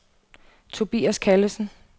Tobias Callesen